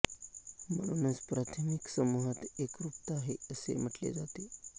म्हणूनच प्राथमिक समुहात एकरूपता आहे असे म्हटले जाते